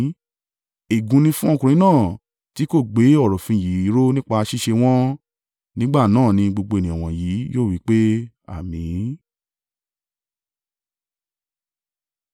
“Ègún ni fún ọkùnrin náà tí kò gbé ọ̀rọ̀ òfin yìí ró nípa ṣíṣe wọ́n.” Nígbà náà ni gbogbo ènìyàn wọ̀nyí yóò wí pé, “Àmín!”